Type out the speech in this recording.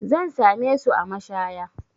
Zan same su a mashaya.